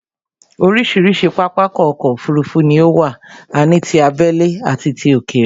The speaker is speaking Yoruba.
Orísirísi pápákọ̀ ọ̀kọ òfurufú ni ó wà, a ní tí abẹ́lé àti ti òkèrè